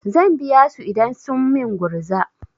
Zan biya su idan sun min gurza.